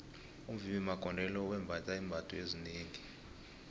umvimbi magondelo wembatha iimbatho ezinengi